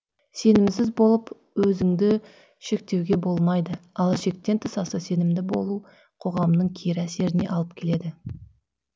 сенімсіз болып өзіңді шектеуге болмайды ал шектен аса сенімді болу қоғамның кері әсеріне алып келеді